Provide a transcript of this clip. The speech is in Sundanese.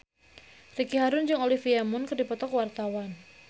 Ricky Harun jeung Olivia Munn keur dipoto ku wartawan